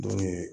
Don ye